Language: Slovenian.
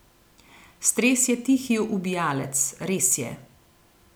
Stres je tihi ubijalec, res je.